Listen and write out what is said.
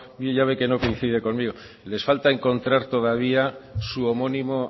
ya ve que no coincide conmigo les falta encontrar todavía su homónimo